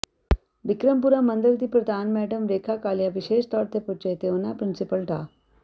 ਬਿਕਰਮਪੁਰਾ ਮੰਦਰ ਦੀ ਪ੍ਰਧਾਨ ਮੈਡਮ ਰੇਖਾ ਕਾਲੀਆ ਵਿਸ਼ੇਸ਼ ਤੌਰ ਤੇ ਪੁੱਜੇ ਤੇ ਉਹਨਾਂ ਪ੍ਰਿੰਸੀਪਲ ਡਾ